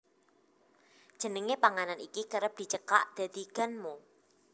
Jenenge panganan iki kerep dicekak dadi ganmo